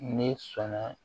Ne sɔnna